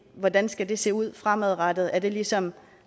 hvordan det skal se ud fremadrettet er det ligesom